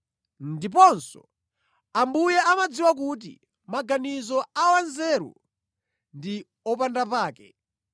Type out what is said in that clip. ndiponso, “Ambuye amadziwa kuti maganizo a wanzeru ndi opandapake.”